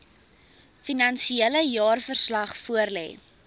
finansiële jaarverslag voorlê